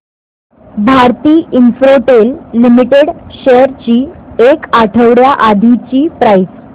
Bharti Infratel limited shares ची एक आठवड्या आधीची प्राइस